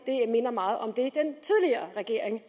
minder meget om det den tidligere regering